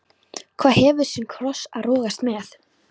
Hver hefur sinn kross að rogast með.